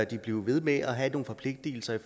de blive ved med at have nogle forpligtelser